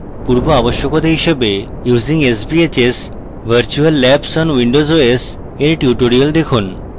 পূর্বআবশ্যকতা হিসাবে using sbhs virtual labs on windows os এর tutorial দেখুন